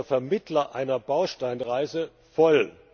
der Vermittler einer Bausteinreise voll.